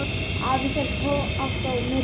Afi hélt alltaf með Tomma.